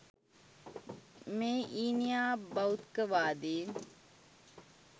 මේ ඊනියා භෞත්ක වාදීන්